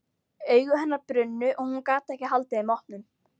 Augu hennar brunnu og hún gat ekki haldið þeim opnum.